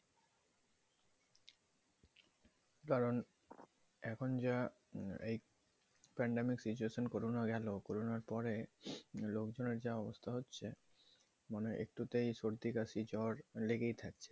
কারণএখন যা এই pandemic situation corona গেলো corona পরে লোক জনের যে অবস্থা হচ্ছে একটুতেই সর্দি কাশি জ্বর লেগেই থাকছে